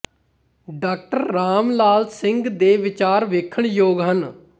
ਡਾ ਰਾਮ ਲਾਲ ਸਿੰਘ ਦੇ ਵਿਚਾਰ ਵੇਖਣ ਯੋਗ ਹਨ